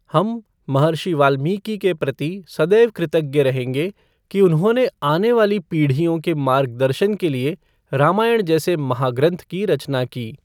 हम, महर्षि वाल्मीकि के प्रति सदैव कृतज्ञ रहेंगें कि उन्होंने आने वाली पीढ़ियों के मार्गदर्शन के लिए रामायण जैसे महाग्रंथ की रचना की।